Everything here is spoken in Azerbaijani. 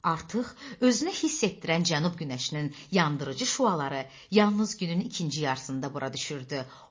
Artıq özünü hiss etdirən cənab günəşinin yandırıcı şüaları yalnız günün ikinci yarısında bura düşürdü.